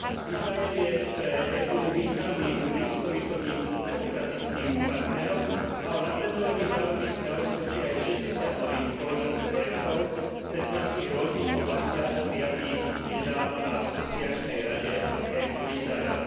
Izrael je pre EÚ významným blízkovýchodným demokratickým partnerom a o napredovaní vzájomných vzťahov svedčí aj 60 nových spoločných projektov v 15 rôznych oblastiach prijatých nedávno na asociačnej rade EÚ Izrael.